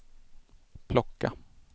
plocka